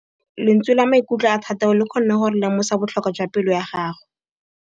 Lentswe la maikutlo a Thategô le kgonne gore re lemosa botlhoko jwa pelô ya gagwe.